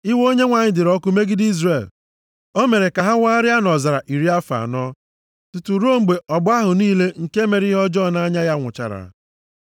Iwe Onyenwe anyị dịịrị ọkụ megide Izrel, o mere ka ha wagharịa nʼọzara iri afọ anọ, tutu ruo mgbe ọgbọ ahụ niile nke mere ihe ọjọọ nʼanya ya nwụchara.